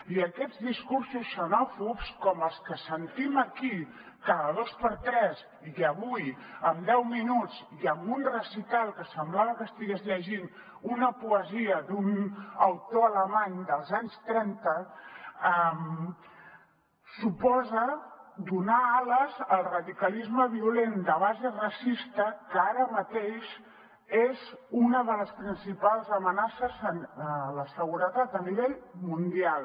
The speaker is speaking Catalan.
i aquests discursos xenòfobs com els que sentim aquí cada dos per tres i avui en deu minuts i amb un recital que semblava que estigués llegint una poesia d’un autor alemany dels anys trenta suposen donar ales al radicalisme violent de base racista que ara mateix és una de les principals amenaces a la seguretat a nivell mundial